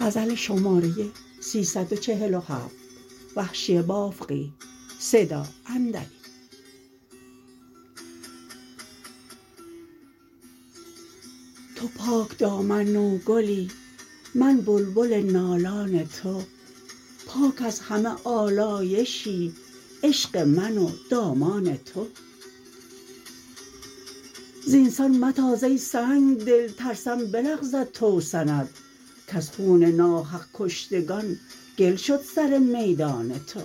تو پاک دامن نوگلی من بلبل نالان تو پاک از همه آلایشی عشق من و دامان تو زینسان متاز ای سنگدل ترسم بلغزد توسن ات کز خون ناحق کشتگان گل شد سر میدان تو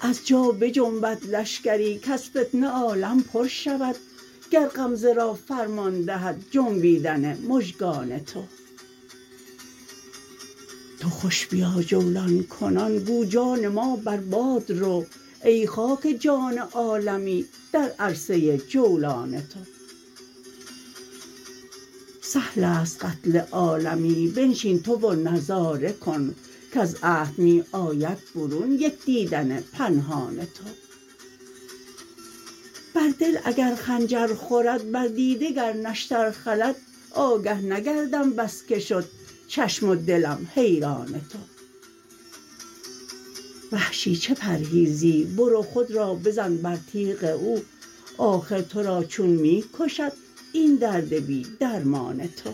از جا بجنبد لشکری کز فتنه عالم پر شود گر غمزه را فرمان دهد جنبیدن مژگان تو تو خوش بیا جولان کنان گو جان ما بر باد رو ای خاک جان عالمی در عرصه ی جولان تو سهل است قتل عالمی بنشین تو و نظاره کن کز عهد می آید برون یک دیدن پنهان تو بر دل اگر خنجر خورد بر دیده گر نشتر خلد آگه نگردم بس که شد چشم و دلم حیران تو وحشی چه پرهیزی برو خود را بزن بر تیغ او آخر تو را چون می کشد این درد بی درمان تو